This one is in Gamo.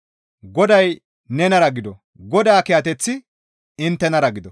Goday nenara gido; Godaa kiyateththi inttenara gido.